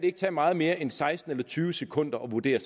ikke tage meget mere end seksten eller tyve sekunder at vurdere